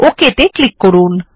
OK ত়ে click করুন